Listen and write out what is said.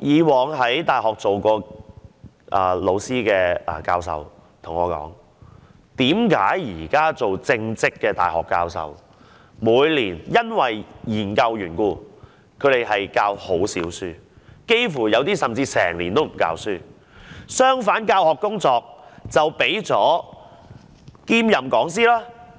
以往在大學授課的教授跟我解說，由於現在正職的大學教授，每年要進行研究緣故，導致他們減少授課，有些人甚至幾乎一整年也不曾授課；相反，兼任講師及